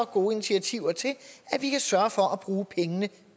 gode initiativer til at vi kan sørge for at bruge pengene